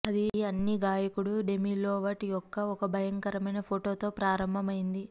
ఇది అన్ని గాయకుడు డెమి లోవాటో యొక్క ఒక భయంకరమైన ఫోటోతో ప్రారంభమైంది